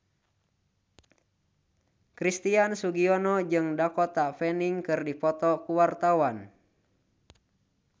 Christian Sugiono jeung Dakota Fanning keur dipoto ku wartawan